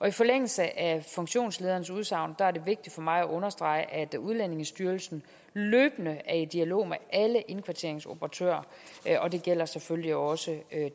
i forlængelse af funktionslederens udsagn er det vigtigt for mig at understrege at udlændingestyrelsen løbende er i dialog med alle indkvarteringsoperatører og det gælder selvfølgelig også